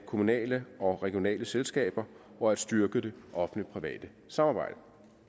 kommunale og regionale selskaber og at styrke det offentligt private samarbejde